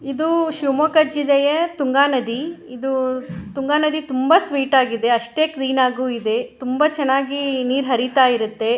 ಇದು ಶಿಮೊಗ್ಗ ಚಿಲ್ಲೆಯ ತುಂಗಾ ನದಿ ಇದು ತುಂಗಾ ನದಿ ತುಂಬ ಸ್ವೀಟ್ ಇದೆ ಅಷ್ಟೇ ಕ್ಲೀನ್ ಅಗೂ ಇದೆ ತುಂಬ ಚೆನ್ನಾಗಿೀ ನೀರ್ ಹರಿತ್ತ ಇರುತ್ತೆ.